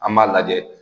An b'a lajɛ